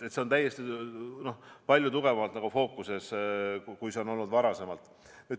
See on palju tugevamalt fookuses kui varem.